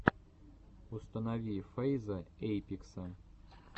установи фэйза эйпекса